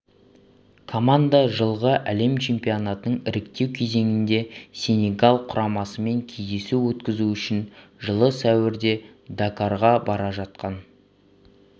команда жылғы әлем чемпионатының іріктеу кезеңінде сенегал құрамасымен кездесу өткізу үшін жылы сәуірде дакарға бара жатқан